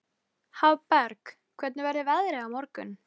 Hann verður bara reiður ef eitthvað er.